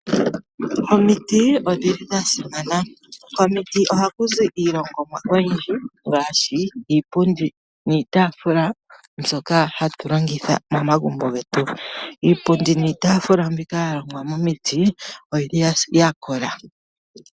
Omiti odhili dha simana, komiti ohakuzi iilongomwa oyindji ngaashi, iipundi niitafula mbyoka hatu longitha momagumbo getu. Iipundi niitafula mbika ya longwa momiti, oyili ya kola.